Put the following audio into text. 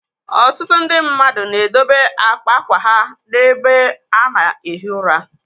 Ọtụtụ ndị mmadụ na edobe àkpà ákwà ha n'ebe ana-ehi ụra.